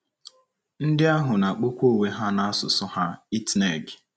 Ndị ahụ na - akpọkwa onwe ha na asụsụ ha Itneg.